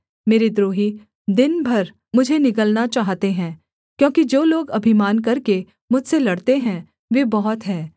मेरे द्रोही दिन भर मुझे निगलना चाहते हैं क्योंकि जो लोग अभिमान करके मुझसे लड़ते हैं वे बहुत हैं